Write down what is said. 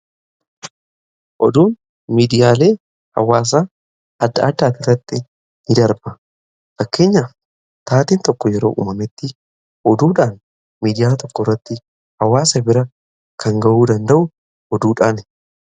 oduun miidiyaalee hawaasa adda addaati irratti in darba. fakkeenyaf taateen tokko yeroo uumametti oduudhaan miidiyalee tokko irratti hawaasa bira kan ga'uu danda'u oduudhaani.